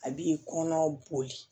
A b'i kɔnɔ boli